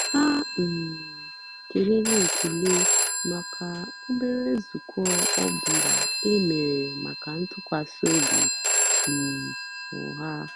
há um kélèrè ékélè màkà óbérè nzọ́ụ́kwụ́ ọ́ bụ́lá é mèrè màkà ntụ́kwasị́ óbí um ọ́há.